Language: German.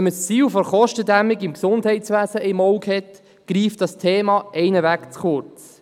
Hat man das Ziel der Kostendämmung im Gesundheitswesen vor Augen, greift das Thema ohnehin zu kurz.